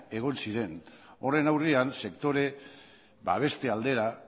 egon ziren horren aurrean sektore babeste aldera